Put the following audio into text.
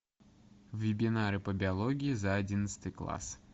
вебинары по биологии за одиннадцатый класс